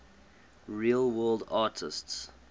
real world artists